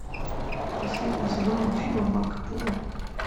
последний сезон мультфильма марко поло